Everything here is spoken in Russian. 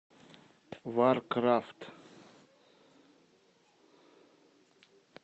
варкрафт